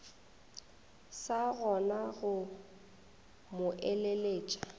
sa kgona go mo eleletša